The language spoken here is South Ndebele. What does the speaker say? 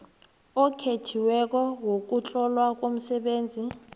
okhethiweko wokuhlolwa komsebenzi